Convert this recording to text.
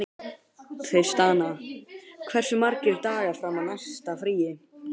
Tristana, hversu margir dagar fram að næsta fríi?